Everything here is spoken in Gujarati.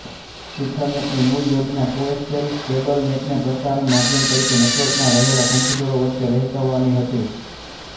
ઈથરનેટની મૂળ યોજના કોએક્ષ્કેલ કેબલ નેટને પ્રસારણ માધ્યમ તરીકે નેટવર્કમાં રહેલા કમ્પ્યુટરો વચ્ચે વહેચવાનો હતી